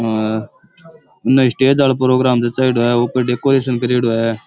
हा आ उन्ने स्टेज आलो प्रोग्राम जचाएडो है ऊपर डेकोरेशन करेड़ो है।